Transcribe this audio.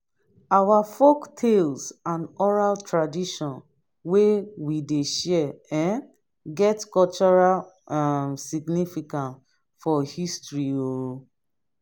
our folktales and oral tradition wey we dey share um get cultural um significance for history um